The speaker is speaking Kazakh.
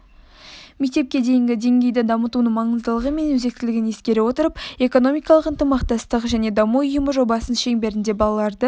мектепке дейінгі деңгейді дамытудың маңыздылығы мен өзектілігін ескере отырып экономикалық ынтымақтастық және даму ұйымы жобасының шеңберінде балаларды